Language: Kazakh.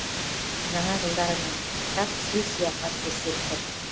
жаңа жылдарымен құттықтап сый сыяпат көрсетті